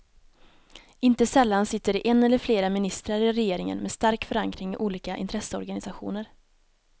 Inte sällan sitter det en eller flera ministrar i regeringen med stark förankring i olika intresseorganisationer.